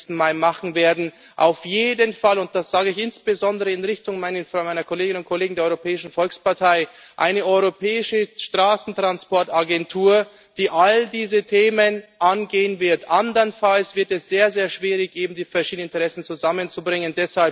31. Mai machen werden, auf jeden Fall und das sage ich insbesondere in Richtung meiner Kolleginnen und Kollegen der Europäischen Volkspartei einer europäischen Straßentransport Agentur, die all diese Themen angehen wird. Andernfalls wird es sehr, sehr schwierig, die verschiedenen Interessen zusammenzubringen.